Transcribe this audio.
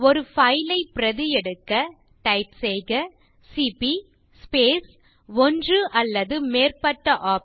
ஒரு பைல் ஐ பிரதி எடுக்க டைப் செய்க சிபி ஸ்பேஸ் ஒன்று அல்லது மேற்பட்ட OPTION